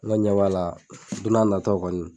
ɲɛ b'a la don n'a nataw kɔni.